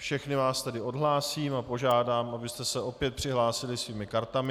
Všechny vás tedy odhlásím a požádám, abyste se opět přihlásili svými kartami.